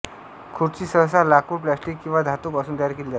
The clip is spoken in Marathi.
खुर्ची सहसा लाकूड प्लास्टिक किंवा धातू पासून तयार केली जाते